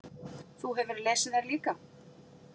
Þú hefur lesið þær líka?